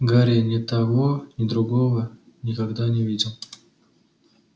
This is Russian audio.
гарри ни того ни другого никогда не видел